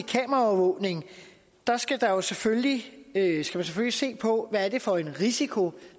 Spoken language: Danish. kameraovervågning skal man selvfølgelig se på hvad det er for en risiko